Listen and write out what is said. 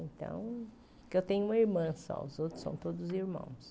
Então, porque eu tenho uma irmã só, os outros são todos irmãos.